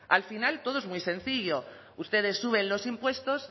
al final todo es muy sencillo ustedes suben los impuestos